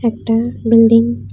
একটা বিল্ডিং ।